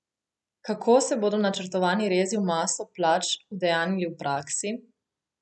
Kako se bodo načrtovani rezi v maso plač udejanjili v praksi?